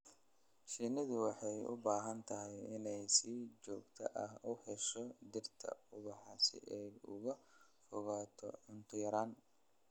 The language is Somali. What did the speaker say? Shinnidu waxay u baahan tahay inay si joogto ah u hesho dhirta ubaxa si ay uga fogaato cunto yaraan.